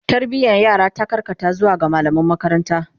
Tarbiyan yara ta karkata zuwa ga mallaman makaranta